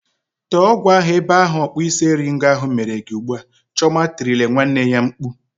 Tee ọgwụ ahụ n'ebe ahụ ọkpụisieringo ahụ mere gị ugbu a! "Chioma tirile nwanne ya mkpu.